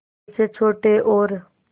जैसे छोटे और